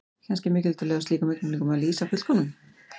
Kannski er mikilvægt að leyfa slíkum augnablikum að lýsa fullkomnun.